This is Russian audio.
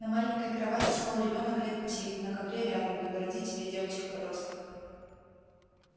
на маленькой кровати спал ребёнок лет пяти на ковре рядом его родители и девочка-подросток